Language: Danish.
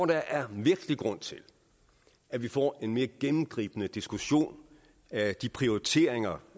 der er virkelig grund til at vi får en mere gennemgribende diskussion af de prioriteringer